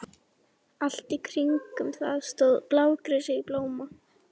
Allt í kringum það stóð blágresi í blóma.